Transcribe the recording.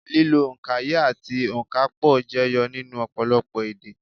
Lílo òǹkaye àti ònkapò jẹyọ nínú ọ̀pọ̀lọpọ̀ èdè